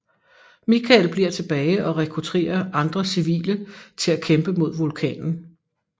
Michael bliver tilbage og rekrutterer andre civile til at kæmpe mod vulkanen